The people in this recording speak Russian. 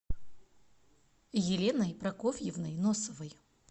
еленой прокофьевной носовой